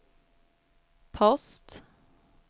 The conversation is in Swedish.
post